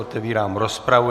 Otevírám rozpravu.